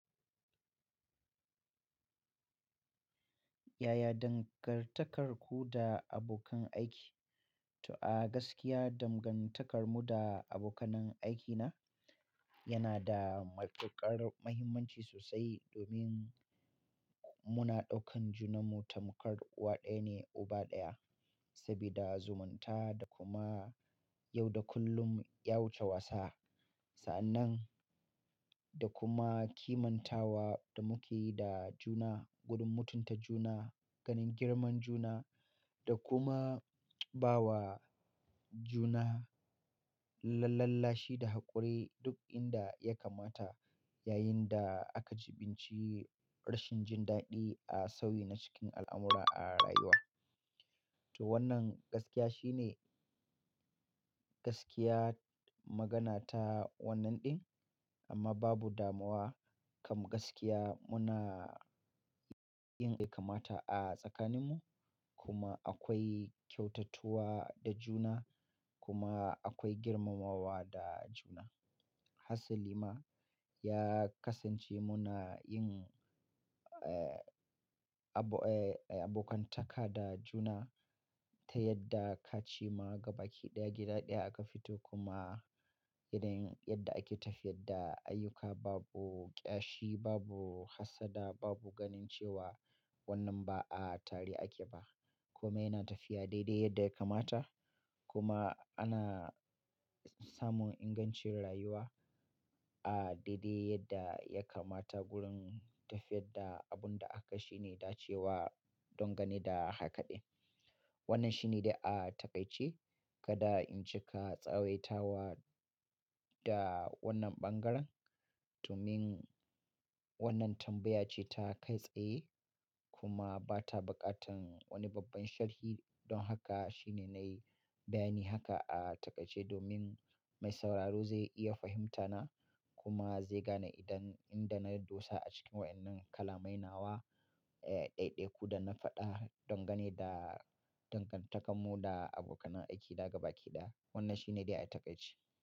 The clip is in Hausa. Yaya dangantakarku da abokan aiki? To a gaskiya danganta karmu da abokan nan aiki na yana da matukar muhimmanci sosai domin muna ɗaukan juna mu tamkar uwa ɗaya ne uba ɗaya. Sabida zumunta da kuma yau da kullum ya wuce wasa. Sa'annan, da kuma kimantawa da muke yi da juna, gurun mutunta juna, ganin girman juna, da kuma bawa juna lallalashi da haƙuri, duk inda ya kamata ya yin da aka jiɓinci rashin jin daɗi a sauyi na cikin al'amura a rayuwa. To wannan gaskiya shine, gaskiya magana ta wannan ɗin, amma babu damuwa kam gaskiya muna, yin inda ya kamata a tsakanin mu kuma akwai kyautatuwa da juna kuma akwai girmamawa da juna. Hasalima ya kasance muna yin, eh, abo-- eh, abokan taka da juna ta yadda ka ci ma gaba kiɗaya gida ɗaya aka fito kuma, idan yadda ake tafiyar da ayyuka babu ƙyashi, babu hassada, babu ganin cewa wannan ba a tare ake ba, kuma yana tafiya dai-dai yadda ya kamata, kuma ana samun ingancin rayuwa, a dai-dai yadda ya kamata wurin tafiyar da abun da aka shirye dace wa dangane da haka ɗin. Wannan shine dai a taƙaice. Kada in cika tsawaitawa da wannan bangaren domin wannan tambaya ce ta kai tsaye kuma ba ta buƙatan wani babban sharhi. Don haka shine na yi bayani haka a taƙaice domin mai sauraro zai iya fahimta na, kuma zai gane idan inda na dosa a cikin waɗannan kalamai nawa, eh, ɗai-ɗaiku da na faɗa, dangane da dangan takarmu da aboka nan aiki na gaba ki ɗaya. Wannan shine dai a taƙaice.